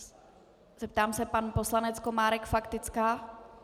Zeptám se - pan poslanec Komárek faktická?